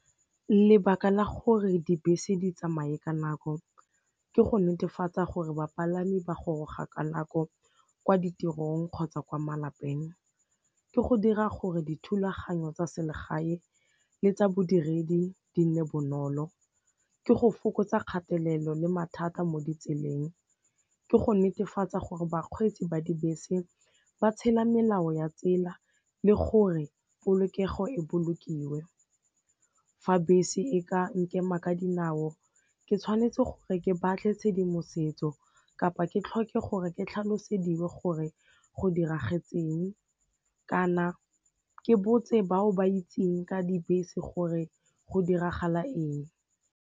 Lebaka la gore dibese di tsamaye ka nako ke go netefatsa gore bapalami ba goroga ka nako kwa ditirong kgotsa kwa malapeng, ke go dira gore dithulaganyo tsa selegae le tsa bodiredi di nne bonolo, ke go fokotsa kgatelelo le mathata mo ditseleng, ke go netefatsa gore bakgweetsi ba dibese ba tshela melao ya tsela le gore polokego e bolokiwe. Fa bese e ka nkema ka dinao ke tshwanetse gore ke batle tshedimosetso kapa ke tlhoke gore ke tlhaloseditswe gore go diragetseng kana ke botse bao ba itseng ka dibese gore go diragala eng.